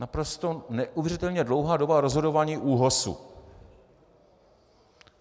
- naprosto neuvěřitelně dlouhá doba rozhodování ÚOHSu.